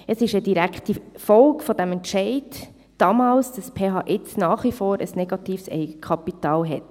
Es ist eine direkte Folge des damaligen Entscheids, dass die PH jetzt nach wie vor ein negatives Eigenkapital hat.